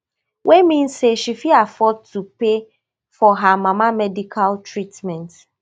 wey mean say she fit afford to pay for her mama medical treatment